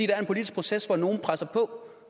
er en politisk proces hvor nogen presser på